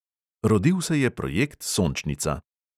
Rodil se je projekt sončnica.